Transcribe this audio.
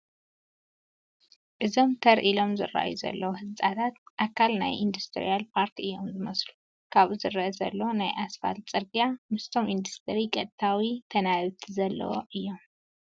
እዞም ተር ኢሎም ዝርአዩ ዘለዉ ህንፃታት ኣካል ናይ ኢንዳስትርያል ፓርክ እዮም ዝመስሉ፡፡ ኣብኡ ዝርአ ዘሎ ናይ ኣስፋልቲ ፅርጊያ ምስቶም ኢንዳስትሪ ቀጥታዊ ተናባብነት ዘለዎ እዩ፡፡